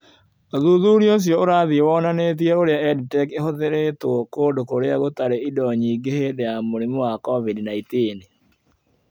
Ũthuthuria ũcio ũrathi wonanĩtie ũrĩa EdTech ĩhũthĩrĩtwo kũndũ kũrĩa gũtarĩ indo nyingĩ hĩndĩ ya mũrimũ wa COVID-19.